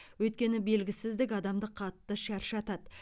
өйткені белгісіздік адамды қатты шаршатады